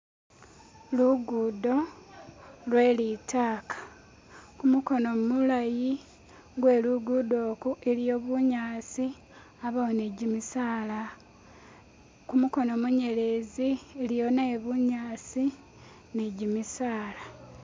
lugudo lwelitaka kumukono mulayi lwelugudo ku iliyo bunyasi abawo nijimisaala kumukono munyelezi iliyo nayo bunyasi nijimisaala